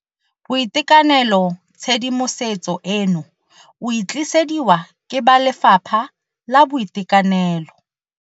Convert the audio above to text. BOITEKANELOTshedimosetso eno o e tlisediwa ke ba Lefapha la Boitekanelo.